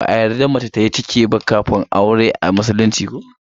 Ba a yarda mace tayi ciki ba kafin aure a musulunci.